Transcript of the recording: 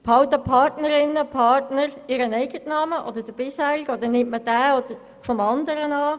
Behalten Partner und Partnerinnen ihren bisherigen Namen oder nimmt eines denjenigen des anderen an?